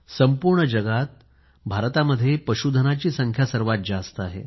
संपूर्ण जगात भारतात पशुधनाची संख्या सर्वात जास्त आहे